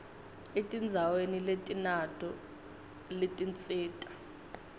etindzaweni letinato letinsita